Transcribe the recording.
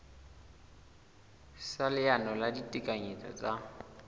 sa leano la ditekanyetso tsa